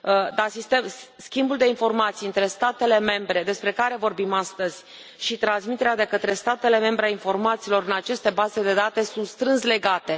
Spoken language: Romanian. Dar schimbul de informații între statele membre despre care vorbim astăzi și transmiterea de către statele membre a informațiilor în aceste baze de date sunt strâns legate.